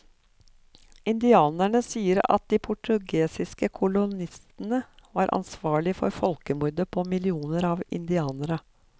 Indianerne sier at de portugisiske kolonistene var ansvarlig for folkemordet på millioner av indianere.